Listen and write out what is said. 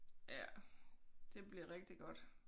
Ja det bliver rigtig godt